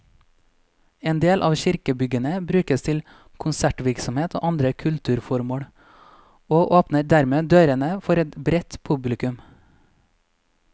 En del av kirkebyggene brukes til konsertvirksomhet og andre kulturformål, og åpner dermed dørene for et bredt publikum.